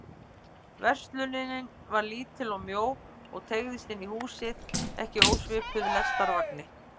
Verslunin var lítil og mjó og teygðist inn í húsið, ekki ósvipuð lestarvagni.